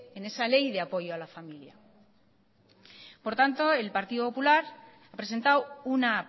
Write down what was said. en esa ley de apoyo a la familia por tanto el partido popular ha presentado una